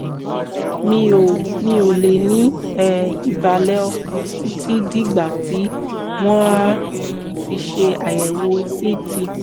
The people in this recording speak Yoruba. mi ò mi ò lè ní um ìbàlẹ̀ ọkàn títí dìgbà tí wọ́n á um fi ṣe àyẹ̀wò ct